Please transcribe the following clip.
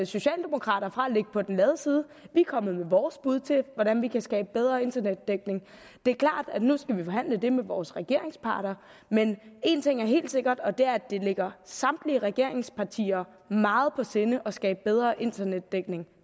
socialdemokrater fra ikke at ligge på den lade side vi er kommet med vores bud til hvordan vi kan skabe bedre internetdækning det er klart at nu skal vi forhandle det med vores regeringspartnere men en ting er helt sikkert og det er at det ligger samtlige regeringspartier meget på sinde at skabe bedre internetdækning